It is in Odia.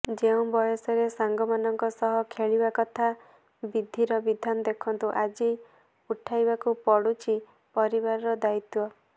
ଯେଉଁ ବୟସରେ ସାଙ୍ଗମାନଙ୍କ ସହ ଖେଳିବା କଥା ବିଧୀର ବିଧାନ ଦେଖନ୍ତୁ ଆଜି ଉଠାଇବାକୁ ପଡୁଛି ପରିବାରର ଦାୟିତ୍ୱ